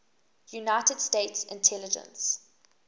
united states intelligence